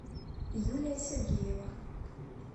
юлия сергеева